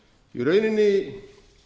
í rauninni